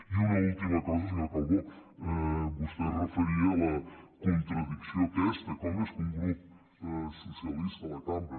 i una última cosa senyor calbó vostè es referia a la contradicció aquesta com és que un grup socialista de la cambra